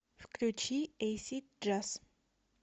включи эйсид джаз